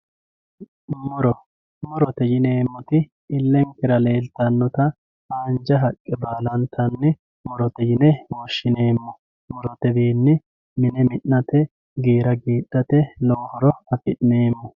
Murro murote yineemoti ilenkera leelitanota haanja haqqe baalantani murote yine woshineemo murote wiini mine minate giira giidhate lowo horo afineemo.